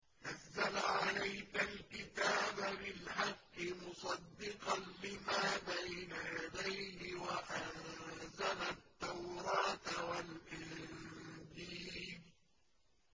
نَزَّلَ عَلَيْكَ الْكِتَابَ بِالْحَقِّ مُصَدِّقًا لِّمَا بَيْنَ يَدَيْهِ وَأَنزَلَ التَّوْرَاةَ وَالْإِنجِيلَ